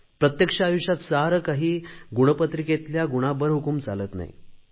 प्रत्यक्ष आयुष्यात सारे काही गुणपत्रिकेतील गुणांबरहुकूम चालत नाही